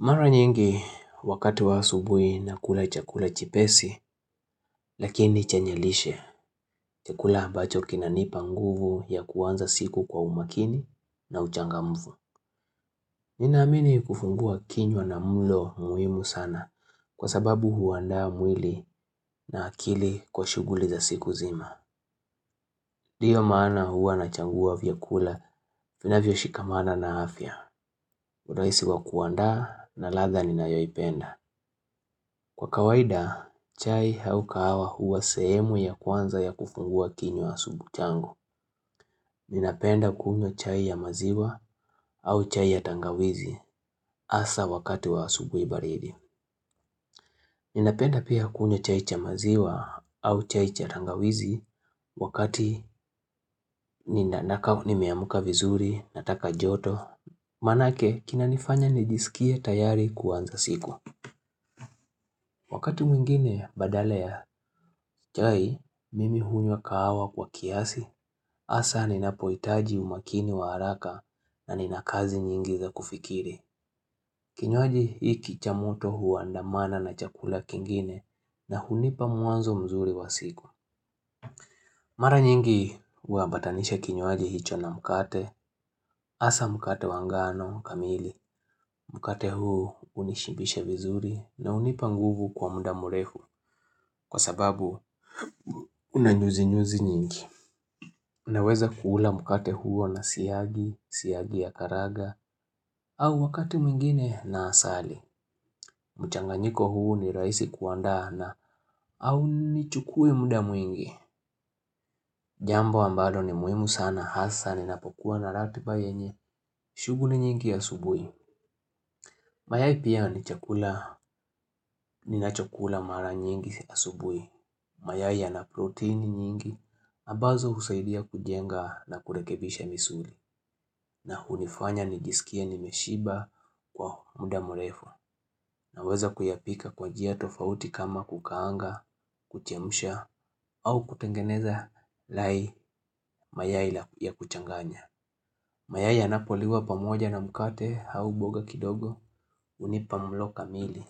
Mara nyingi wakati wa asubui nakula chakula chepesi lakini chenye lishe chakula ambacho kinanipa nguvu ya kuanza siku kwa umakini na uchangamfu. Ninaamini kufungua kinywa na mulo muhimu sana kwa sababu huandaa mwili na akili kwa shughuli za siku zima. Ndiyo maana huwa nachagua vyakula vinavyoshikamana na afya. Urahisi wa kuandaa na ladha ninayoipenda. Kwa kawaida, chai au kahawa huwa sehemu ya kwanza ya kufungua kinywa asubu changu. Ninapenda kunywa chai ya maziwa au chai ya tangawizi hasa wakati wa asubuhi baridi. Ninapenda pia kunywa chai cha maziwa au chai cha tangawizi wakati nina nakaa nimeamuka vizuri, nataka joto. Maanake, kinanifanya nijisikie tayari kuanza siku. Wakati mwingine badala ya chai, mimi hunywa kahawa kwa kiasi. Hasa ninapohitaji umakini wa haraka na nina kazi nyingi za kufikiri. Kinywaji hiki cha moto huandamana na chakula kingine na hunipa mwanzo mzuri wa siku. Mara nyingi huambatanisha kinywaji hicho na mkate. Hasa mkate wa ngano kamili. Mkate huu hunishibisha vizuri na hunipa nguvu kwa mda mrefu. Kwa sababu una nyuzinyuzi nyingi Unaweza kuula mkate huo na siagi, siagi ya karaga au wakati mwingine na asali mchanganyiko huo ni rahisi kuandaa na haunichukui mda mwingi Jambo ambalo ni muhimu sana hasa ninapokuwa na ratiba yenye shughuli nyingi asubuhi Mayai pia ni chakula, ninachokula mara nyingi asubuhi Mayai yana proteini nyingi ambazo husaidia kujenga na kurekebisha misuli. Na hunifanya nijisikie nimeshiba kwa mda mrefu. Naweza kuyapika kwa njia tofauti kama kukaanga, kuchemsha au kutengeneza lai mayai ya kuchanganya. Mayai yanapoliwa pamoja na mkate au boga kidogo hunipa mlo kamili.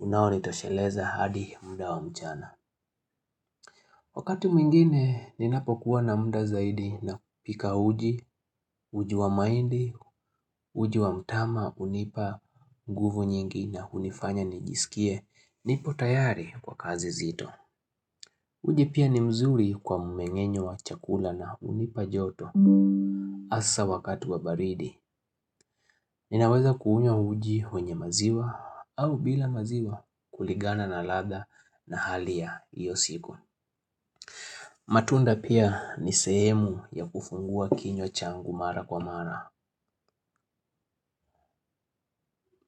Unaonitosheleza hadi mda wa mchana. Wakati mwingine, ninapokuwa na mda zaidi napika uji, uji wa mahindi, uji wa mtama, hunipa, nguvu nyingi na hunifanya nijisikie, nipo tayari kwa kazi zito. Uji pia ni mzuri kwa mumengenyo wa chakula na hunipa joto. Hasa wakati wa baridi, ninaweza kuunywa uji wenye maziwa au bila maziwa kulingana na ladha na hali ya iyo siku. Matunda pia ni sehemu ya kufungua kinywa changu mara kwa mara.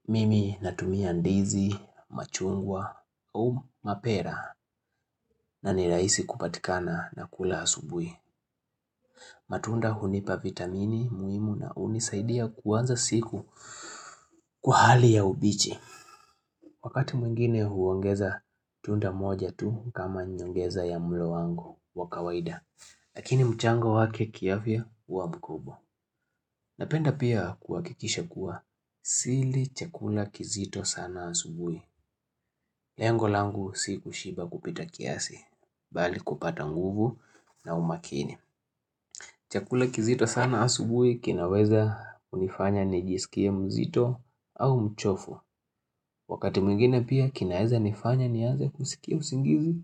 Mimi natumia ndizi, machungwa au mapera na ni rahisi kupatikana na kula asubuhi. Matunda hunipa vitamini muhimu na hunisaidia kuanza siku kwa hali ya ubichi. Wakati mwingine huongeza tunda moja tu kama nyongeza ya mlo wangu wa kawaida. Lakini mchango wake kiafya huwa mkubwa Napenda pia kuhakikisha kuwa sili chakula kizito sana asubuhi. Lengo langu si kushiba kupita kiasi, bali kupata nguvu na umakini. Chakula kizito sana asubuhi kinaweza kunifanya nijisikie mzito au mchofu. Wakati mwingine pia kinaeza nifanya nianze kusikia usingizi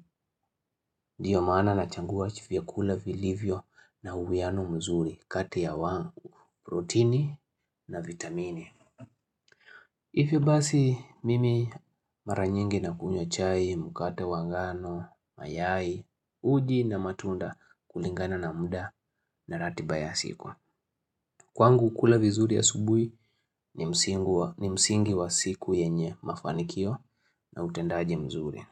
Ndiyo maana nachagua vyakula vilivyo na uwiano mzuri kati ya wa protini na vitamini hivyo basi mimi mara nyingi nakunywa chai, mkate wa ngano, mayai Uji na matunda kulingana na mda na ratiba ya siku Kwangu kula vizuri asubuhi ni msingu wa ni msingi wa siku yenye mafanikio na utendaji mzuri.